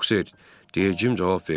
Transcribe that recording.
Yox, ser, dedi Cim cavab verdi.